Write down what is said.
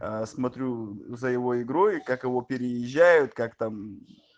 смотрю за его игрой как его переезжают как там